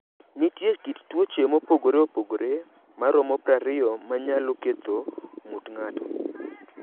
Nitie kit tuoche mopogore opogore maromo 20 ma nyalo ketho ng’ut ng’ato.